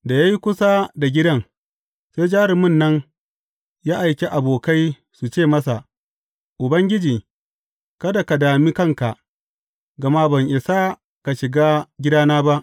Da ya yi kusa da gidan, sai jarumin nan, ya aiki abokai su ce masa, Ubangiji, kada ka dami kanka, gama ban isa ka shiga gidana ba.